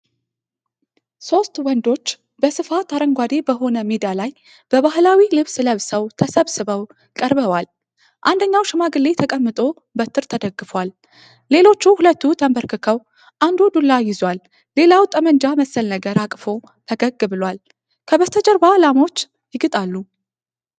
ሦስት ወንዶች በስፋት አረንጓዴ በሆነ ሜዳ ላይ ባህላዊ ልብስ ለብሰው ተሰብስበው ቀርበዋል። አንደኛው ሽማግሌ ተቀምጦ በትር ተደግፏል። ሌሎች ሁለቱ ተንበርክከው አንዱ ዱላ ይዟል፣ ሌላው ጠመንጃ መሰል ነገር አቅፎ ፈገግ ብሏል። ከበስተጀርባ ላሞች ይግጣሉ።